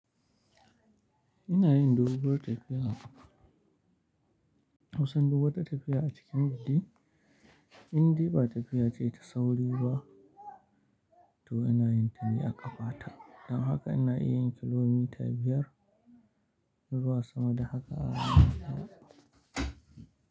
Ina yin doguwar tafiya, kusan duk wata tafiya a cikin gari, indai ba tafiya ce ta sauri ba to ina yin ta ne a ƙafa ta. Don haka ina iya yin kilomita biyar zuwa sama da haka a rana.